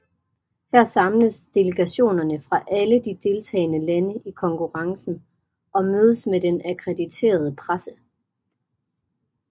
Her samles delegationerne fra alle de deltagende lande i konkurrencen og mødes med den akkrediterede presse